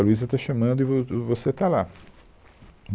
A Luísa está chamando e vo, do, você está lá.